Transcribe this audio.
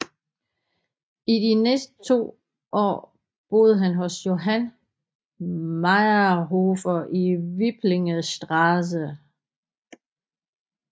I de næste to år boede han hos Johann Mayrhofer i Wipplingerstraße